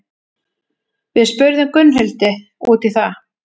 Við spurðum Gunnhildi út í það.